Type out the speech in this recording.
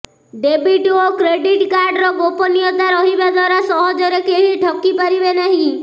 debit ଓ credit କାର୍ଡର ଗୋପନୀୟତା ରହିବା ଦ୍ୱାରା ସହଜରେ କେହି ଠକି ପାରିବେ ନାହିଁ